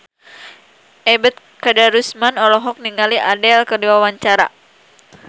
Ebet Kadarusman olohok ningali Adele keur diwawancara